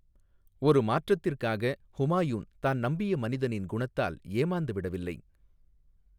ஒரு மாற்றத்திற்காக, ஹுமாயூன் தான் நம்பிய மனிதனின் குணத்தால் ஏமாந்துவிடவில்லை.